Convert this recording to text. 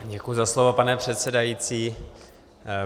Děkuji za slovo, pane předsedající.